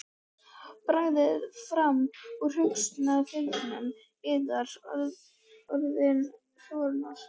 Dragið fram úr hugarfylgsnum yðar orðin Þórunnar.